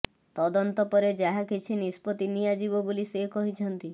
ତଦନ୍ତ ପରେ ଯାହା କିଛି ନିଷ୍ପତି ନିଆଯିବ ବୋଲି ସେ କହିଛନ୍ତି